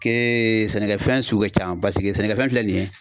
ke sɛnɛkɛfɛn sugu ka can baseke sɛnɛkɛfɛn filɛ nin ye